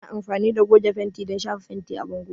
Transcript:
Ana amfani da goge fenti don shafa fenti a bango.